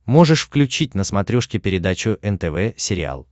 можешь включить на смотрешке передачу нтв сериал